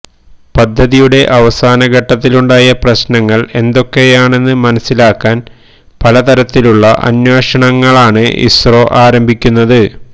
പദ്ധതിയുടെ അവസാനഘട്ടത്തിലുണ്ടായ പ്രശ്നങ്ങൾ എന്തൊക്കെയാണെന്ന് മനസ്സിലാക്കാൻ പലതരത്തിലുള്ള അന്വേഷണങ്ങളാണ് ഇസ്രോ ആരംഭിക്കുന്നത്